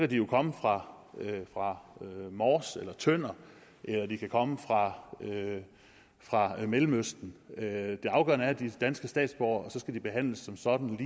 de jo komme fra fra mors eller tønder eller de kan komme fra fra mellemøsten det afgørende er at de er danske statsborgere og så skal de behandles som sådan